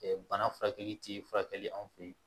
bana furakɛli ti furakɛli an fɛ yen